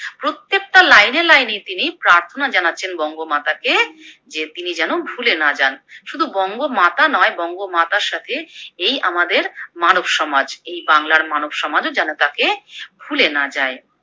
প্রত্যেকটা লাইনে লাইনে তিনি প্রার্থনা জানাচ্ছেন বঙ্গমাতা কে যে তিনি যেন ভুলে না যান, শুধু বঙ্গমাতা নয় বঙ্গমাতার সাথে এই আমাদের মানব সমাজ, এই বাংলার মানব সমাজ যেন তাকে ভুলে না যায়।